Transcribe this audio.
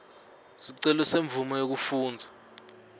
sicelo semvumo yekufundza